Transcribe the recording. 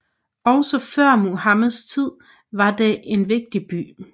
Også før Muhammeds tid var den en vigtig by